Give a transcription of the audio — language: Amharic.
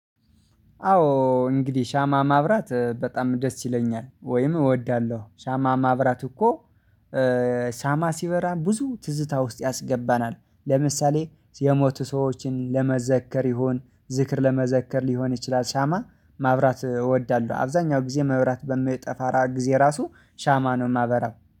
አዎ እንግዲህ ሻማ ማብራት በጣም ደስ ይለኛል ወይም እወዳለሁ ሻማ ማብራት እኮ ሻማ ሲበራ ብዙ ትዝታ ውስጥ ያስገባናል። ለምሳሌ የሞቱ ሰዎችን ለመዘከር ይሁን ዝክር ለመዘከር ሊሆን ይችላል። ሻማ ማብራት እወዳለሁ። አብዛኛው ጊዜ መብራት በሚጠፋ ራቅ ጊዜ ራሱ ሻማ ነው የማበራው